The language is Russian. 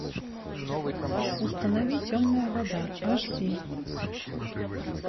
установи темная вода аш ди